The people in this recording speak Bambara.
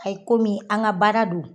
Ayi komi an ga baara donɔ